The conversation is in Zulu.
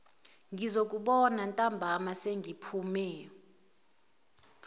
ngizokubona ntambama sengiphume